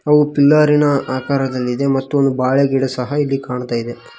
ಅವು ಪಿಲ್ಲರಿ ನ ಆಕಾರದಲ್ಲಿದೆ ಮತ್ತು ಬಾಳೆಗಿಡ ಸಹ ಇಲ್ಲಿ ಕಾಣ್ತಾ ಇದೆ.